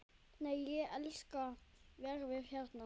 Nei, ég elska veðrið hérna!